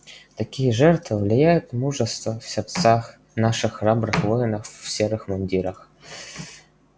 такие жертвы вливают мужество в сердца наших храбрых воинов в серых мундирах